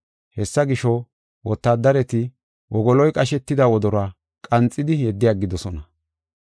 Hessa gisho, wotaadareti wogoloy qashetida wodoruwa qanxidi yeddi aggidosona.